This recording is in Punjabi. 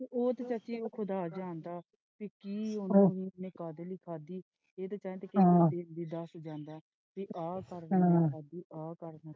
ਤੇ ਉਹ ਤੇ ਚਾਚੀ ਖ਼ੁਦਾ ਜਾਣਦਾ ਕਿ ਕਿ ਉਹਨੇ ਕਾਹਦੇ ਲਈ ਖਾਦੀ ਕਿੰਦੇ ਕਹਿਣ ਤੇ ਜਾਂਦਾ ਤੇ ਆ ਕਰ ਦੇਣਾ ਚਾਚੀ ਆ ਕਰ ਦੇਣਾ।